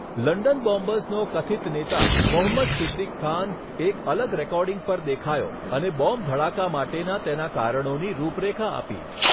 London બોમ્બર્સનો કથિત નેતા, મોહમ્મદ સિદિક ખાન, એક અલગ રેકોર્ડિંગ પર દેખાયો અને બોમ્બ ધડાકા માટેના તેના કારણોની રૂપરેખા આપી.